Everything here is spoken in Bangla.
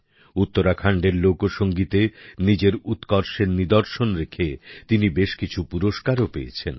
উত্তরাখন্ড এর লোকসঙ্গীতে নিজের উৎকর্ষের নিদর্শন রেখে তিনি বেশ কিছু পুরস্কারও পেয়েছেন